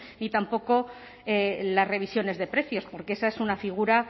ni tampoco las revisiones de precios porque esa es una figura